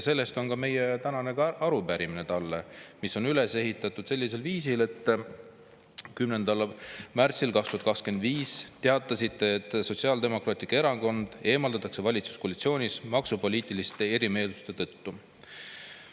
Selle kohta on ka meie tänane arupärimine talle, mis on üles ehitatud sellisel viisil: "10. märtsil 2025 teatasite, et Sotsiaaldemokraatlik Erakond eemaldatakse valitsuskoalitsioonist maksupoliitiliste erimeelsuste tõttu.